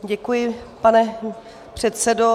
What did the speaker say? Děkuji, pane předsedo.